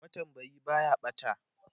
matambayi Baya ɓata